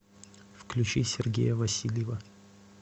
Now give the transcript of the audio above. включи сергея васильева